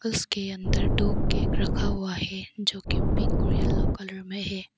उसके अंदर दो केक रखा हुआ है जो कि पिंक और येलो कलर में है।